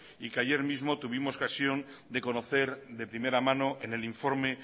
y que ayer mismo tuvimos ocasión de conocer de primera mano en el informe